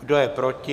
Kdo je proti?